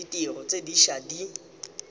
ditiro tse di ša di